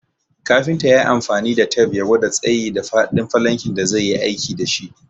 Kafinta yayi amfani da tep ya gwada tsayi da faɗin falankin da zai yi aiki dashi